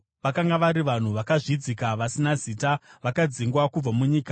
Vakanga vari vanhu vakazvidzika vasina zita, vakadzingwa kubva munyika.